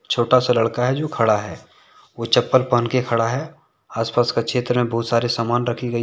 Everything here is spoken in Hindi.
छोटा सा लड़का है जो खड़ा है वो चप्पल पहन के खड़ा है। आसपास का क्षेत्र में बहुत सारे सामान रखी गई --